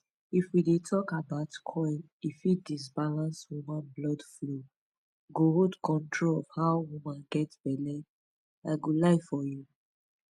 if we dey talk about coil e fit disbalance woman blood flow--go hold control of how woman get belle i go lie for you